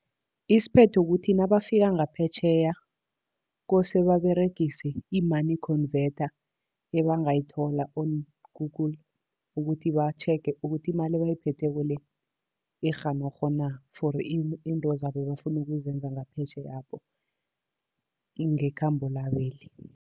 Isiphetho kukuthi nabafika ngaphetjheya, kose baberegise i-money convertor ebangayithola on Google., ukuthi batjhege ukuthi imali ebayiphetheko le, i-genog na for izinto zabo ebafuna ukuzenza ngaphetjheyapho, ngekhambo labeli.